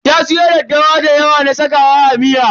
Ta siyo daddawa da yawa na sakawa a miya.